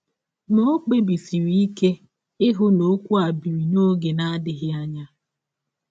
Ma, ọ kpebisiri ike ịhụ na ọkwụ a biri n’ọge na - adịghị anya.